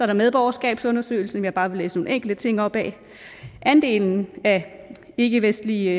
der medborgerskabsundersøgelsen som jeg bare vil læse nogle enkelte ting op af andelen af ikkevestlige